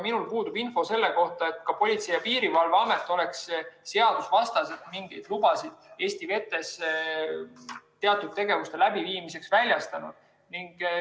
Minul puudub info selle kohta, et Politsei‑ ja Piirivalveamet oleks seadusvastaselt mingeid lubasid Eesti vetes teatud tegevuste läbiviimiseks väljastanud.